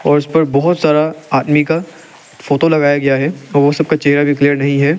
और उस पर बहोत सारा आदमी का फोटो लगाया गया है और वो सब का चेहरा भी क्लियर नहीं है।